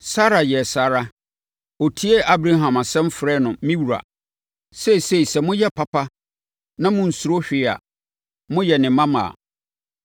Sara yɛɛ saa ara. Ɔtiee Abraham asɛm frɛɛ no “Me wura.” Seesei sɛ moyɛ papa na monsuro hwee a, moyɛ ne mmammaa.